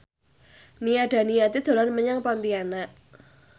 Nia Daniati dolan menyang Pontianak